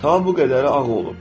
Ta bu qədəri ağır olub.